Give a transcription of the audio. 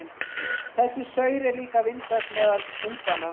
Þessi saur er líka vinsæll meðal unganna.